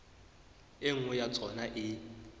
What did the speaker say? e nngwe ya tsona e